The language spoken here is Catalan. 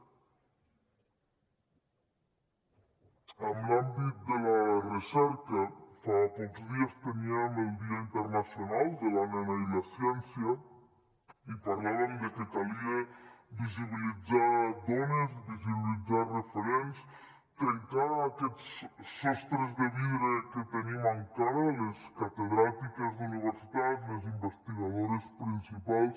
en l’àmbit de la recerca fa pocs dies teníem el dia internacional de la nena i la ciència i parlàvem de que calia visibilitzar dones i visibilitzar referents trencar aquests sostres de vidre que tenim encara les catedràtiques d’universitat les investigadores principals